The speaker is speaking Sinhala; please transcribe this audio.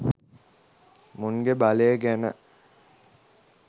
මුන්ගෙ බලය ගැන.